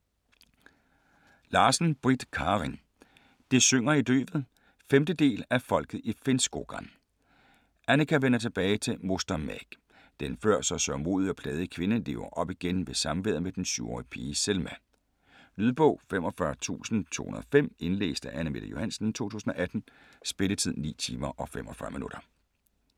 Larsen, Britt Karin: Det synger i løvet 5. del af Folket i Finnskogen. Annikka vender tilbage til Mostamägg. Den før så sørgmodige og plagede kvinde liver op igen i samværet med den syv-årige pige Selma. Lydbog 45205 Indlæst af Anne-Mette Johansen, 2018. Spilletid: 9 timer, 45 minutter.